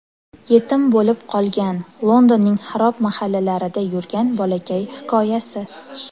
Yetim bo‘lib qolgan, Londonning xarob mahallalarida yurgan bolakay hikoyasi.